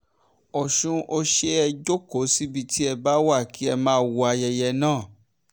ọ̀sùn ọ̀sẹ̀ ẹ jókòó síbi tí ẹ bá wá kí ẹ máa wo ayẹyẹ náà